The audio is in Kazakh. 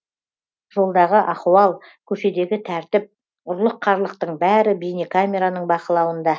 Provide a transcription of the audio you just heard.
жолдағы ахуал көшедегі тәртіп ұрлық қарлықтың бәрі бейнекамераның бақылауында